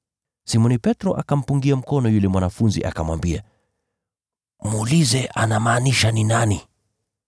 Simoni Petro akampungia mkono yule mwanafunzi, akamwambia, “Muulize anamaanisha nani.”